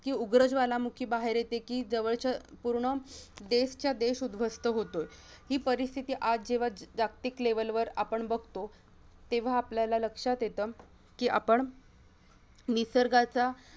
की उग्र ज्वालामुखी बाहेर येते की जवळचा पूर्ण देश चा देश उध्वस्त होतो ही परिस्थिती आपण आज जेव्हा जागतिक level वर आपण बघतो तेव्हा आपल्याला लक्ष्यात येत की आपण निसर्गाचा